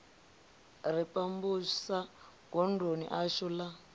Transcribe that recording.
ri pambusa godoni ḽashu la